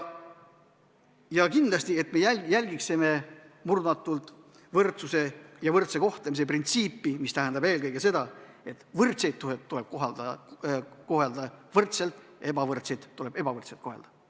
Ja kindlasti me peame murdumatult järgima võrdsuse ja võrdse kohtlemise printsiipi, mis tähendab eelkõige seda, et võrdseid tuleb kohelda võrdselt, ebavõrdseid tuleb ebavõrdselt kohelda.